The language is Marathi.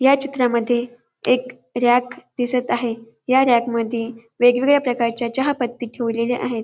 या चित्रामध्ये एक रॅक दिसत आहे या रॅक मध्ये वेगवेगळ्या प्रकारच्या चहापत्ती ठेवलेल्या आहेत.